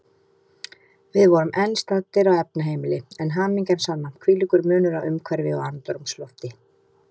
Við vorum enn staddir á efnaheimili, en hamingjan sanna, hvílíkur munur á umhverfi og andrúmslofti.